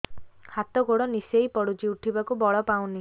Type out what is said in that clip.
ହାତ ଗୋଡ ନିସେଇ ପଡୁଛି ଉଠିବାକୁ ବଳ ପାଉନି